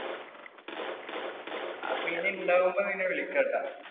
അപ്പൊ ഇനി ഇണ്ടാവുമ്പോ നിന്നെ വിളിക്കാട്ടോ.